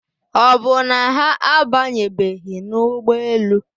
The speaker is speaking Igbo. Ọ bụ na ha abanyebeghị n'ụgbọelu?